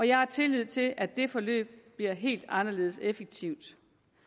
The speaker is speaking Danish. jeg har tillid til at det forløb bliver helt anderledes effektivt